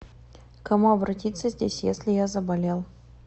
к кому обратиться здесь если я заболел